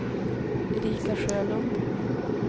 Erika Sjölund